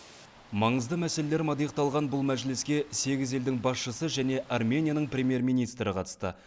маңызды мәселелер мадиықталған бұл мәжіліске сегіз елдің басшысы және арменияның премьер министрі қатысты